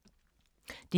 DR2